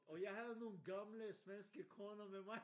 Og jeg havde nogle gamle svenske kroner med mig